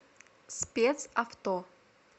спец авто